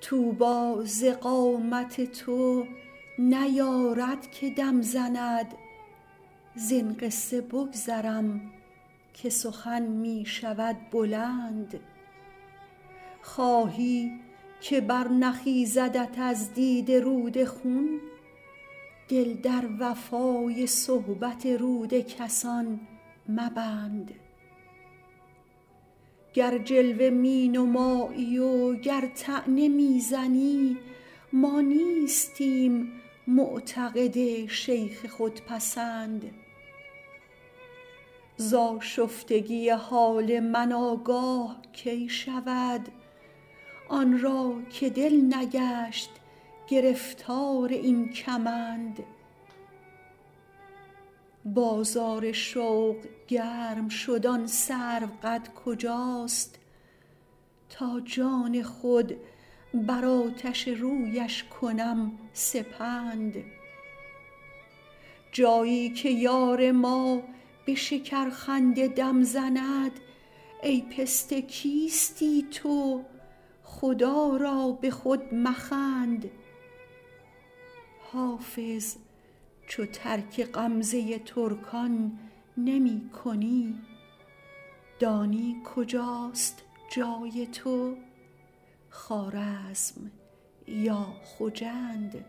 طوبی ز قامت تو نیارد که دم زند زین قصه بگذرم که سخن می شود بلند خواهی که برنخیزدت از دیده رود خون دل در وفای صحبت رود کسان مبند گر جلوه می نمایی و گر طعنه می زنی ما نیستیم معتقد شیخ خودپسند ز آشفتگی حال من آگاه کی شود آن را که دل نگشت گرفتار این کمند بازار شوق گرم شد آن سروقد کجاست تا جان خود بر آتش رویش کنم سپند جایی که یار ما به شکرخنده دم زند ای پسته کیستی تو خدا را به خود مخند حافظ چو ترک غمزه ترکان نمی کنی دانی کجاست جای تو خوارزم یا خجند